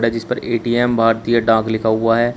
जिस पर ए_टी_एम भारतीय डाक लिखा हुआ है।